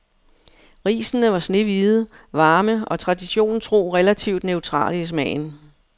Risene var snehvide, varme og traditionen tro relativt neutrale i smagen.